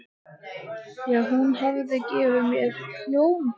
já, hún hafði gefið mér hljómborð.